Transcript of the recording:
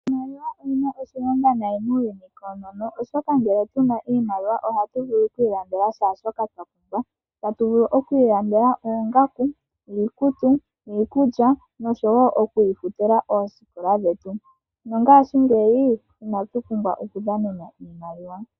Iimaliwa oyi na oshilonga oshilonga nayi muuyuni koonono, oshoka ngele tuna iimaliwa ohagu vulu oku ilandela shaashoka twa pumbwa. Ta tu vulu oku ilandela oongaku, iikutu, iikulya noshowo oku ifutila oosikola dhetu. No ngashingeyi inatu pumbwa okudhanena oshimaliwa.